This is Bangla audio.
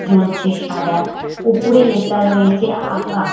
জ্বলছে সাদা ওপরে লেখা রয়েছে আকার ।